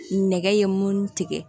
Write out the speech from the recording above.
Nɛgɛ ye mun tigɛ